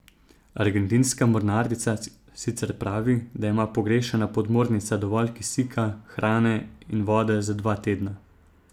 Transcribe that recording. Argentinska mornarica sicer pravi, da ima pogrešana podmornica dovolj kisika, hrane in vode za dva tedna.